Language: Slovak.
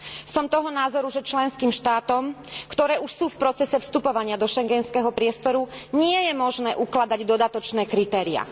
Som toho názoru, že členským štátom, ktoré už sú v procese vstupovania do schengenského priestoru, nie je možné ukladať dodatočné kritériá.